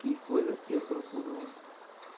que coisas que eu procuro.